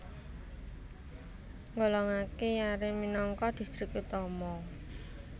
nggolongaké Yaren minangka distrik utama